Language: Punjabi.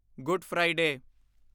good Friday